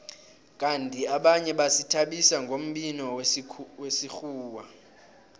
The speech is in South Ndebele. kandi abanye bazithabisa ngombhino wesikhuwa